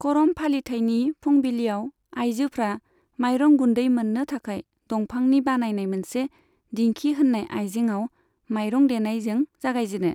करम फालिथायनि फुंबिलिआव आइजोफ्रा माइरं गुन्दै मोननो थाखाय दंफांनि बानायनाय मोनसे दिंखि होननाय आइजेंआव माइरं देनायजों जागायजेनो।